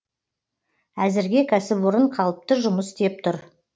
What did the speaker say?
әзірге кәсіпорын қалыпты жұмыс істеп тұр